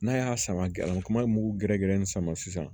N'a y'a sama gala kuma in mugu gɛrɛ gɛrɛ in sama sisan